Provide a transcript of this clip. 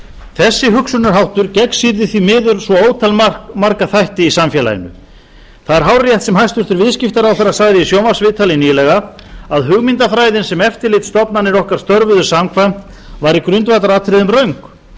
þessi hugsunarháttur gegnsýrði því miður svo ótal marga þætti í samfélaginu það er hárrétt sem hæstvirtur viðskiptaráðherra sagði í sjónvarpsviðtali nýlega að hugmyndafræðin sem eftirlitsstofnanir okkar störfuðu samkvæmt var í grundvallaratriðum röng